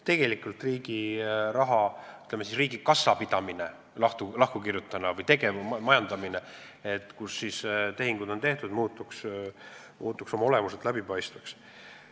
Riigiraha portaal, riigi kassa pidamine lahku kirjutatuna või tegevmajandamine, see, kuidas on tehinguid tehtud, muutuks oma olemuselt läbipaistvaks.